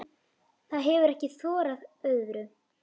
Það hefir ekki þorað öðru.